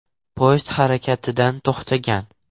Poyezd harakatdan to‘xtagan.